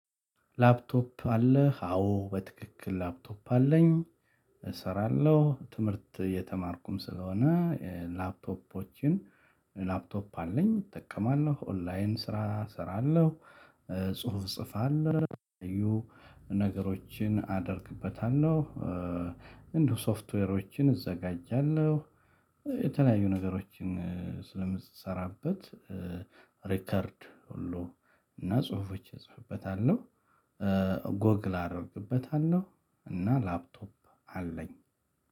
ላፕቶፕ አለህ? አዎ በትክክል ላፕቶፕ አለኝ። እሰራለሁ። ትምህርት እየተማርኩም ስለሆነ ላፕቶፖችን ላፕቶፕ አለኝ፣ እጠቀማለሁ፣ ኦንላይን ስራ እሰራለሁ፣ ጽሁፍ እጽፋለሁ የተለያዩ ነገሮችን አደርግበታለሁ፣ ሶፍትዌሮችን እዘጋጃለሁ፣ የተለያዩ ነገሮችን ስለምሰራበት ሪከርድ ሁሉ እና ጽሁፎች እጽፍበታለሁ። ጎግል አደርግበታለሁ። እና ላፕቶፕ አለኝ።